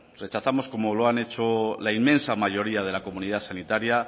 rechazamos como lo han hecho la inmensa mayoría de la comunidad sanitaria